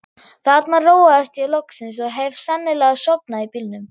Þarna róaðist ég loksins og hef sennilega sofnað í bílnum.